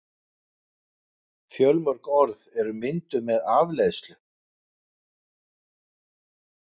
Fjölmörg orð eru mynduð með afleiðslu.